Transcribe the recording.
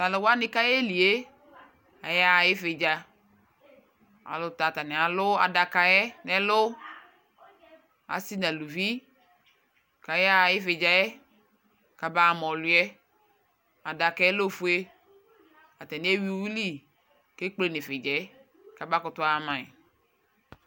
tʊ alʊwanɩ kʊ ayeli yɛ yaɣa ividza, ay'ɛlutɛ atanɩ alʊ adaka yɛ, asi nʊ aluvi, kʊ ayaɣa ividza yɛ kama ɣa ma ɔlʊ yɛ, adaka yɛ ofue, atanɩ ewui uwili ekple nʊ ividza yɛ, kama kʊtʊ ama yi